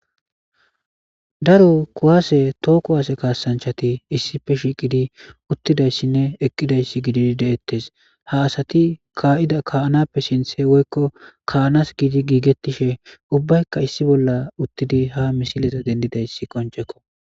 Daro kuwase toho kuwase kasanchati issipe shiqidi utidaysine eqidaysi gididi detes ha asati ka'da ka'anape sinthe woyko ka'anas gidi gigetishe ubayika issi bola utidi ha missileza xelidaysi qonc'eko.